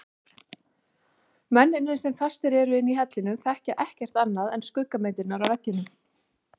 Mennirnir sem fastir eru inni í hellinum þekkja ekkert annað en skuggamyndirnar á veggnum.